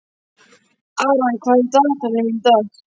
Aran, hvað er á dagatalinu mínu í dag?